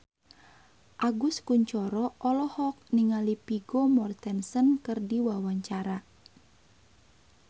Agus Kuncoro olohok ningali Vigo Mortensen keur diwawancara